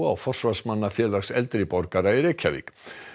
og forsvarsmanna Félags eldri borgara í Reykjavík